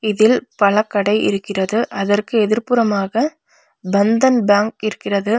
இதில் பழக்கடை இருக்கிறது அதற்கு எதிர் புறமாக பந்தன் பேங்க் இருக்கிறது.